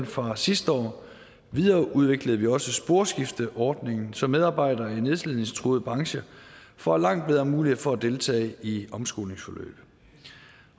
fra sidste år videreudviklede vi også sporskifteordningen så medarbejdere i nedslidningstruede brancher får langt bedre mulighed for at deltage i omskolingsforløb